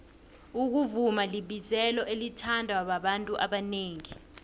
ukuvuma libizelo elithandwa babantu abanengi